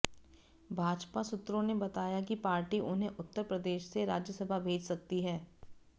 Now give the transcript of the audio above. भाजपा सूत्रों ने बताया कि पार्टी उन्हें उत्तर प्रदेश से राज्यसभा भेज सकती है